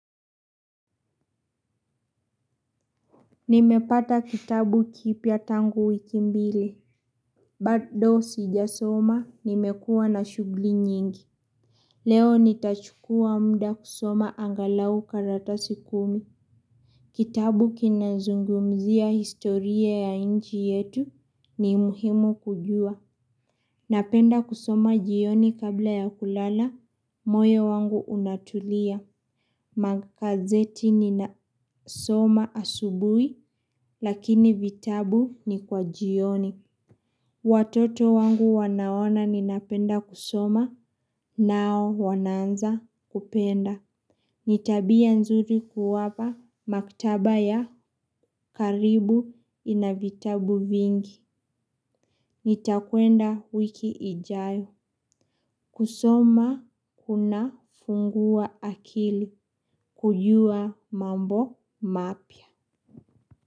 Nimepata kitabu kipya tangu wiki mbili. Bado sijasoma nimekua na shugli nyingi. Leo nitachukua mda kusoma angalau karatasi kumi. Kitabu kinazungumzia historia ya inchi yetu ni muhimu kujua. Napenda kusoma jioni kabla ya kulala, moyo wangu unatulia. Makazeti ninasoma asubui, lakini vitabu ni kwa jioni. Watoto wangu wanaona ninapenda kusoma, nao wanaanza kupenda. Ni tabia nzuri kuwapa, maktaba ya karibu ina vitabu vingi. Nitakuenda wiki ijayo. Kusoma kuna fungua akili, kujua mambo mapya.